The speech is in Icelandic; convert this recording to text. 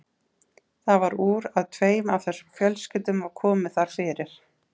Það varð úr að tveim af þessum fjölskyldum var komið þar fyrir.